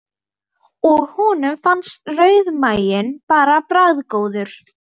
Og honum fannst rauðmaginn bara bragðgóður.